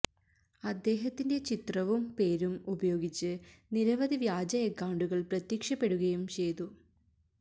അദ്ദേഹത്തിന്റെ ചിത്രവും പേരും ഉപയോഗിച്ച് നിരവധി വ്യാജ അക്കൌണ്ടുകള് പ്രത്യക്ഷപ്പെടുകയും ചെയ്തു